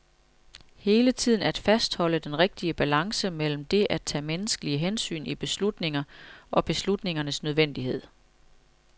Hele tiden at fastholde den rigtige balance mellem det at tage menneskelige hensyn i beslutninger og beslutningernes nødvendighed.